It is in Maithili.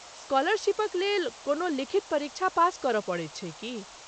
स्कॉलरशीपक लेल कोनो लिखित परीक्षा पास करय पड़ैत छै की?